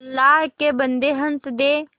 अल्लाह के बन्दे हंस दे